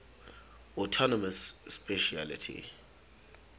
autonomous specialty